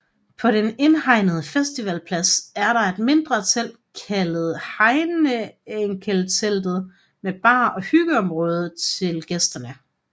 På den indhegnede festivalplads er der et mindre telt kaldet Heinekenteltet med bar og hyggeområde til gæsterne